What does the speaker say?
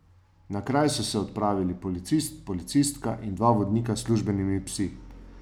Na kraj so se odpravili policist, policistka in dva vodnika s službenimi psi.